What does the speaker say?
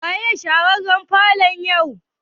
Waye share falon yau?